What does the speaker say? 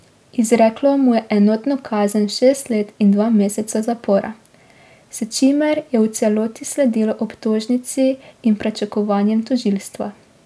Izreklo mu je enotno kazen šest let in dva meseca zapora, s čimer je v celoti sledilo obtožnici in pričakovanjem tožilstva.